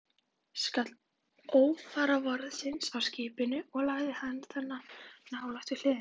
skall óforvarandis á skipinu og lagði það nálega á hliðina.